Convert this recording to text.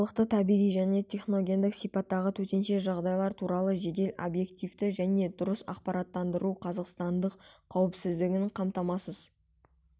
халықты табиғи және техногендік сипаттағы төтенше жағдайлар туралы жедел объективті және дұрыс ақпараттандыруға қазақстандықтардың қауіпсіздігін қамтамасыз